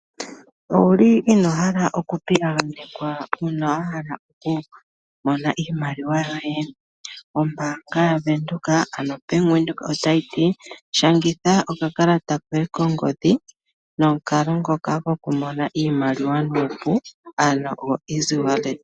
Owuli ino hala okuh pita ganekwa uuna ahala oku Mona iimaliwa yoye? Ombaanga oneneya